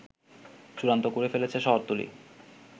চূড়ান্ত করে ফেলেছে শহরতলী